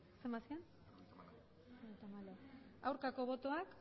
emandako botoak